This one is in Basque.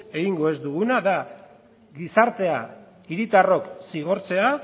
egingo ez duguna da gizartea hiritarrok zigortzea